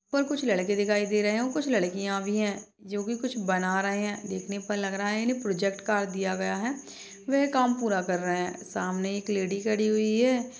ऊपर कुछ लड़के दिखाई दे रहे है और कुछ लड़किया भी है जोकी कुछ बना रहे है देखने पर लग रहा है की इन्हे प्रोजेक्ट कार्य दिया गया है वह काम पूरा कर रहे है सामने एक लेडी खड़ी हुई है।